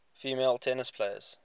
female tennis players